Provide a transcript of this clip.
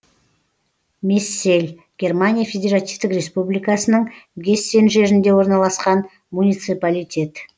мессель германия федеративтік республикасының гессен жерінде орналасқан муниципалитет